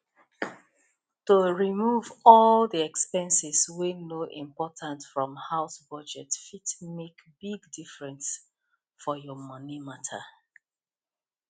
to remove all the expenses wey no important from house budget fit make big difference for your money matter